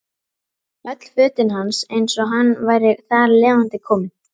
Öll fötin hans eins og hann væri þar lifandi kominn.